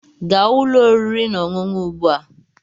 Gaa ụlọ oriri na ọṅụṅụ ugbu a!